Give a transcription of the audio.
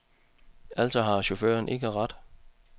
Altså har chaufføren ikke ret.